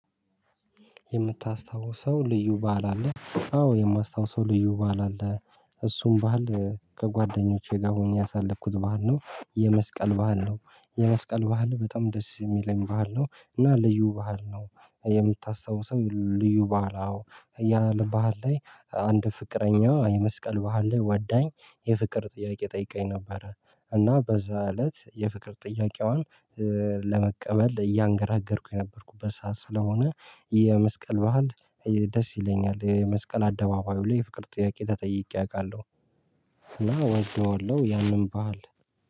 የምታስታውሰው ልዩ በዓል አለ? አዎ የማስታውሰው ልዩ በዓል አለ። እሱን በሀል ከጓደኞቼ ጋር ሆኜ ያሳለፍኩት በሀል ነው የመስቀል በሀል ነው። የመስቀል በሀል በጣም ደስ እሚለኝ በሀል ነው እና ልዩ በሀል ነው። የምታስታውሰው ልዩ ባህል? አዎ ያ በሀል ላይ አንድ ፍቅረኛ የመስቀል በሀል ላይ ወዳኝ የፍቅር ጥያቄ ጠይቃኝ ነበረ። እና በዛ እለት የፍቅር ጥያቄዋን ለመቀበል እያንገራገርኩኝ የነበርኩበት ሰዓት ስለሆነ። የመስቀል በዓል ደስ ይለኛል። የመስቀል አደባባዩ ላይ የፍቅር ጥያቄ ተጠይቄ አውቃለሁ። እና ወደዋለሁ ያንን በሀል።